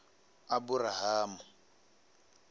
aburahamu